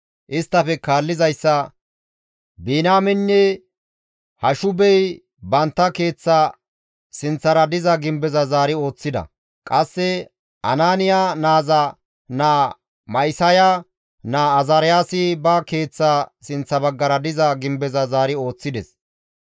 Isttafe kaallizayssa Biniyaameynne Hashubey bantta keeththa sinththara diza gimbeza zaari ooththida; qasse Anaaniya naaza naa Ma7isaya naa Azaariyaasi ba keeththa sinththa baggara diza gimbeza zaari ooththides.